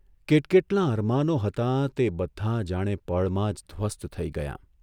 કેટકેટલાં અરમાનો હતાં તે બધાં જાણે પળમાં જ ધ્વસ્ત થઇ ગયાં.